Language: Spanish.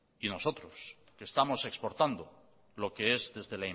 y nosotros que estamos exportando lo que es desde